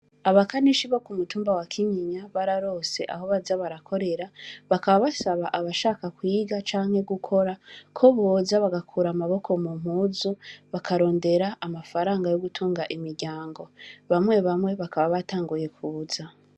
Abakanishi bo kumutumba wa kinyinya, bararose Aho baza barakorera bakaba Abashaka kwiga canke gukora KO noza bagakura amaboko mumpuzu, bakarondera amafaranga yogutunga imiryango, bamwe bamwe bakaba batanguye kuza.